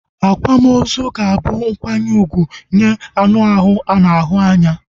Akwamozu ga-abu nkwanye úgwù nye anu ahụ ana ahu anya